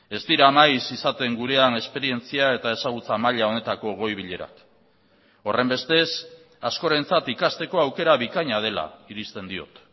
ez dira maiz izaten gurean esperientzia eta ezagutza maila honetako goi bilerak horrenbestez askorentzat ikasteko aukera bikaina dela irizten diot